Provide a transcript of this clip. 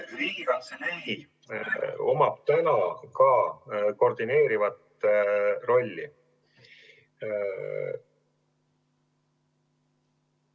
Riigikantseleil on ka praegu koordineeriv rolli.